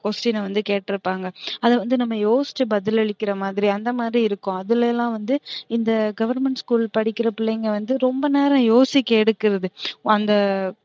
அந்த question வந்து கேட்ருப்பாங்க அத வந்து நம்ம யோசிச்சு பதிலலிக்கிற மாறி அந்த மாறி இருக்கும் அதுலலாம் வந்து இந்த government school படிக்குற பிள்ளைங்க வந்து ரொம்ப நேரம் யோசிக்க எடுக்குறது